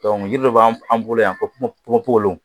jiri dɔ b'an an bolo yan ka ponponpogolo